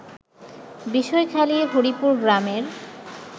বিষয়খালী হরিপুর গ্রামের